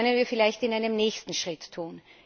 Das können wir jedoch in einem nächsten Schritt tun.